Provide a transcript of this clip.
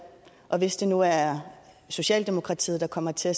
og hvis det nu er socialdemokratiet der kommer til at